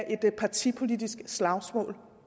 et partipolitisk slagsmål